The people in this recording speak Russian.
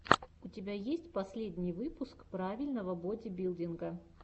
у тебя есть последний выпуск правильного бодибилдинга